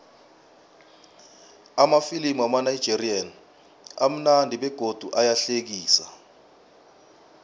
amafilimu wamanigerian amunandi begodu ayahlekisa